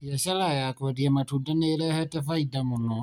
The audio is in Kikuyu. Biacara ya kwendia matunda nĩ ĩrehete Faida mũno.